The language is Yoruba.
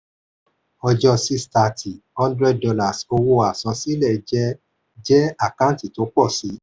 ọjọ́ 6/30: $100 owó àsansílẹ̀ jẹ jẹ àkántì pọ̀ sí.